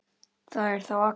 Það er þá Agnes!